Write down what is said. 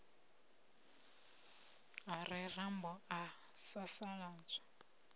a re rambo a sasaladzwa